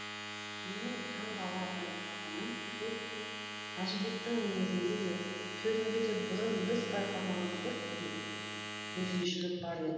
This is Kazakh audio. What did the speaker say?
менің таңғала байқағаным сол күні әжібектің мінезінде де сөзінде де бұрын біз байқамаған бір өзгешелік бар еді